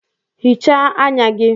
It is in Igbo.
Hichaa anya gị!